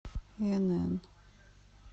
инн